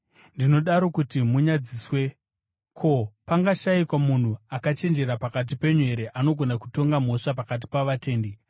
Ndinodaro kuti munyadziswe. Ko, pangashayikwa munhu akachenjera pakati penyu here anogona kutonga mhosva pakati pavatendi?